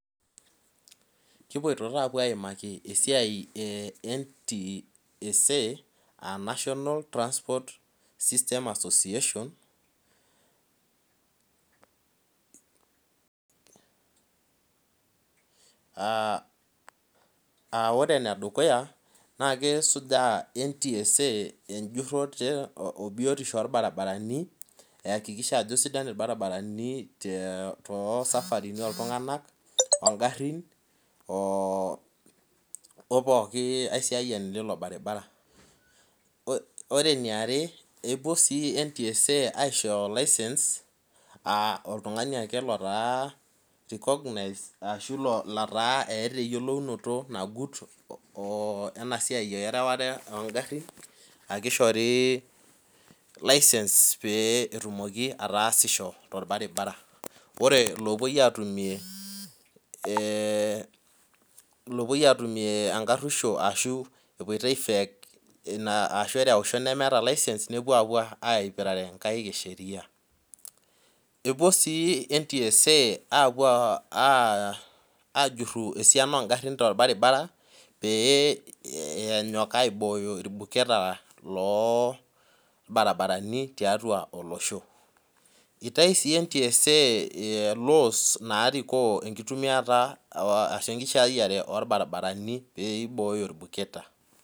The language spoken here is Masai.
kipoito taa apuo aimaki siatie eee NTSA national transport system assosiation. koree ene dukuya naa kesuuja NTSA ejuroto oo ebiotishoo orbarabarani ihakikisha ajo sidan irbarabarani too safarini oltiunganak; ohh garin ohh pooki aisiyiani lilo baribara, koree ene iare kepuo sii NTSA aishoyoo license ahh oltungani akee lootaa recognized arashoo loota keata eyioluonoto enasiaia erewata ooo garin ake ishori licnse pee etumoki ataasisho too mbarabara koreee lopui atumiie enkarueshoo arashoo epuo aifake license nepuo apuo aipirare nkaek eee sheria, kepuo sii NTSA appuooo ajuruu esiana ooo garin too barbara peeenyook aiiboyoo ilduketa loo brabarani tiatua olooshoo itau sii NTSA laws peeyieo imbooyo ilduketa.